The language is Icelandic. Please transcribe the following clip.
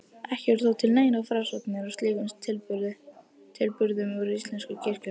Ekki eru þó til neinar frásagnir af slíkum tilburðum úr íslensku kirkjuhaldi.